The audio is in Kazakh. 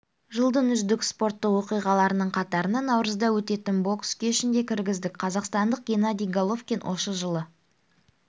жылдың үздік спорттық оқиғаларының қатарына наурызда өтетін бокс кешін де кіргіздік қазақстандық геннадий головкин осы жылды